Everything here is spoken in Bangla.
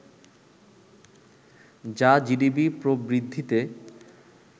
যা জিডিপি প্রবৃদ্ধিতে